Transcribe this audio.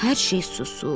Hər şey susur.